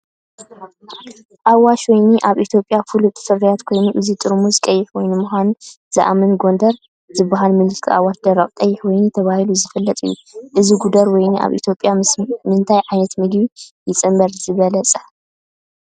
ኣዋሽ ወይኒ ኣብ ኢትዮጵያ ፍሉጥ ፍርያት ኮይኑ፡ እዚ ጥርሙዝ ቀይሕ ወይኒ ምዃኑ ዝእመን "ጎደር" ዝበሃል ምልክት ኣዋሽ ደረቕ ቀይሕ ወይኒ ተባሂሉ ስለዝፍለጥ እዩ። እዚ "ጎደር" ወይኒ ኣብ ኢትዮጵያ ምስ ምንታይ ዓይነት ምግቢ ይጽምበር ዝበለጸዩ?